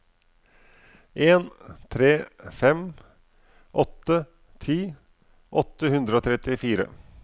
en tre fem åtte ti åtte hundre og trettifire